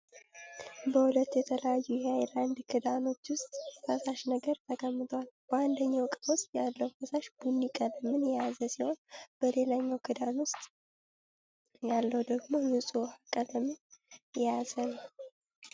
በሁለት የተለያዩ የሃይላንድ ክዳኖች ዉስጥ ፈሳሽ ነገር ተቀምጧል። በአንደኛው እቃ ዉስጥ ያለው ፈሳሽ ቡኒ ቀለምን የያዘ ሲሆን በሌላኛው ክዳን ዉስጥ ያለው ደግሞ ንጹህ ዉሃ ቀለምን የያዘ ነው።